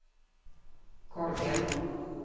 Korgen